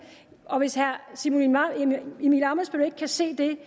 og hvis herre simon emil ammitzbøll ikke kan se det